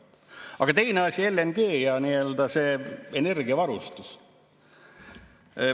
Aga teine asi, LNG ja nii-öelda see energiavarustus.